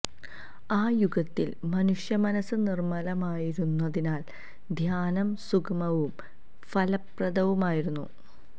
ആ യുഗത്തില് മനുഷ്യ മനസ്സ് നിര്മ്മലമായിരുന്നതിനാല് ധ്യാനം സുഗമവും ഫലപ്രദവുമായിരുന്നു